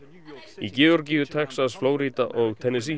í Georgíu Texas Flórída og